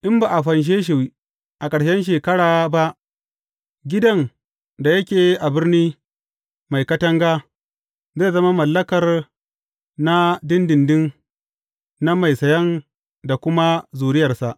In ba a fanshe shi a ƙarshen shekara ba, gidan da yake a birni mai katanga, zai zama mallakar na ɗinɗinɗin na mai sayan da kuma zuriyarsa.